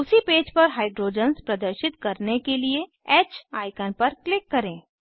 उसी पेज पर हाइड्रोजन्स प्रदर्शित करने के लिए ह आईकन पर क्लिक करें